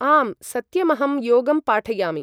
आं सत्यमहं योगं पाठयामि ।